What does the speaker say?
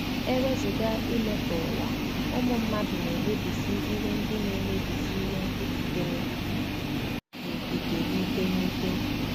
E wezụga imetọ ụwa, ụmụ mmadụ na-emebisị ihe ndị na-emebisị ihe ndị sitere n'okike n'ike n'ike.